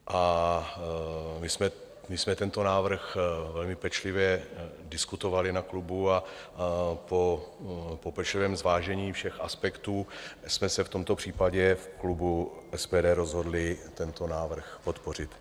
A my jsme tento návrh velmi pečlivě diskutovali na klubu a po pečlivém zvážení všech aspektů jsme se v tomto případě v klubu SPD rozhodli tento návrh podpořit.